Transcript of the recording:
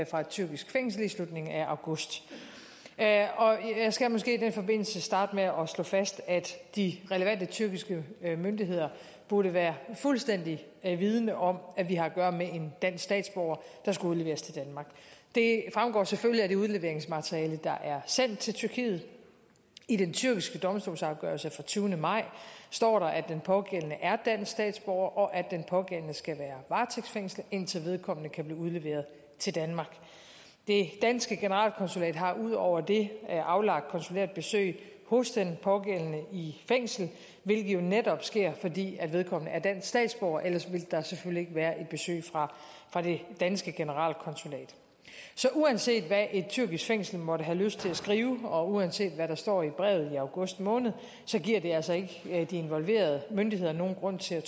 fra et tyrkisk fængsel i slutningen af august jeg skal måske i den forbindelse starte med at slå fast at de relevante tyrkiske myndigheder burde være fuldstændig vidende om at vi har at gøre med en dansk statsborger der skal udleveres til danmark det fremgår selvfølgelig af det udleveringsmateriale der er sendt til tyrkiet i den tyrkiske domstolsafgørelse fra tyvende maj står der at den pågældende er dansk statsborger og at den pågældende skal være varetægtsfængslet indtil vedkommende kan blive udleveret til danmark det danske generalkonsulat har ud over det aflagt konsulært besøg hos den pågældende i fængslet hvilket jo netop sker fordi vedkommende er dansk statsborger ellers ville der selvfølgelig være en besøgsret fra det danske generalkonsulat så uanset hvad et tyrkisk fængsel måtte have lyst til at skrive og uanset hvad der står i brevet i august måned giver det altså ikke de involverede myndigheder nogen grund til